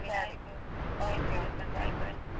ಸರಿ okay okay bye bye .